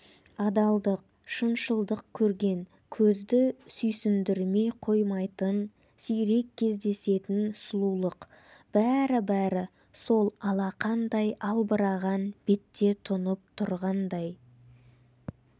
адалдық шыншылдық көрген көзді сүйсіндірмей қоймайтын сирек кездесетін сұлулық бәрі-бәрі сол алақандай албыраған бетте тұнып тұрғандай